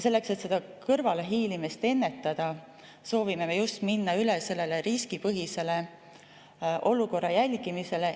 Selleks, et kõrvalehiilimist ennetada, soovime me just minna üle riskipõhisele olukorra jälgimisele.